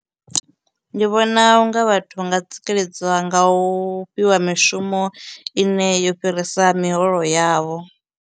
Ndi vhona unga vhathu vha nga tsikeledziwa nga u fhiwa mishumo ine yo fhirisa miholo yavho.